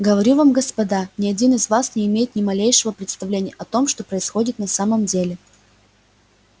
говорю вам господа ни один из вас не имеет ни малейшего представления о том что происходит на самом деле